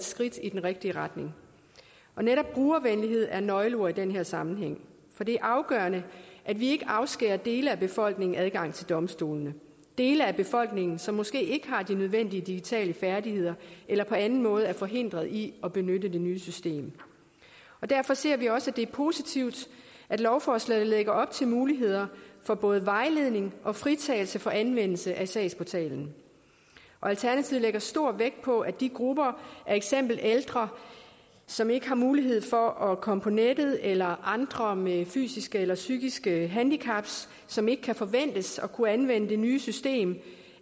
skridt i den rigtige retning netop brugervenlighed er et nøgleord i den her sammenhæng for det er afgørende at vi ikke afskærer dele af befolkningen fra adgang til domstolene dele af befolkningen som måske ikke har de nødvendige digitale færdigheder eller på anden måde er forhindret i at benytte det nye system derfor synes vi også det er positivt at lovforslaget lægger op til muligheder for både vejledning og fritagelse for anvendelse af sagsportalen alternativet lægger stor vægt på at de grupper af eksempelvis ældre som ikke har mulighed for at komme på nettet eller andre med fysiske eller psykiske handicap som ikke kan forventes at kunne anvende det nye system